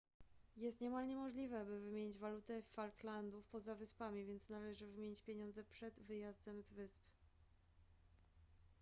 jest niemal niemożliwe by wymienić walutę falklandów poza wyspami więc należy wymienić pieniądze przed wyjazdem z wysp